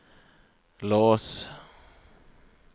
lås